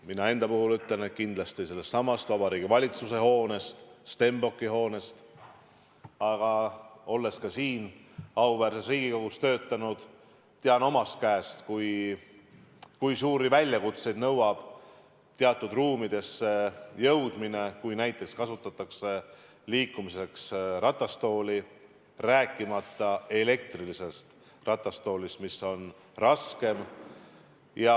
Mina ütlen kindlasti seda Vabariigi Valitsuse hoone, Stenbocki hoone kohta, aga olles ka siin auväärses Riigikogus töötanud, tean omast käest, kui suuri väljakutseid tekitab teatud ruumidesse jõudmine, kui näiteks kasutatakse liikumiseks ratastooli, rääkimata elektrilisest ratastoolist, mis on raskem.